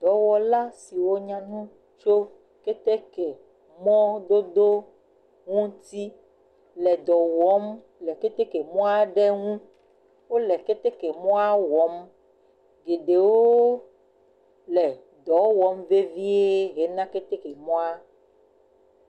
Dɔwɔla siwo nya nu tso ketekemɔdodo ŋuti le dɔ wɔm le keteke mɔ aɖe ŋu. Wole ketemɔa wɔm. Geɖewo le dɔ wɔm vevie hena ketemɔa.